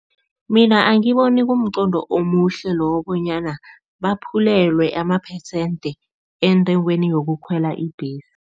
Mina angiboni kumqondo omuhle lowo bonyana baphulelwe ama-percent entengweni yokukhwela ibhesi.